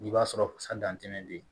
I b'a sɔrɔ bɛ yen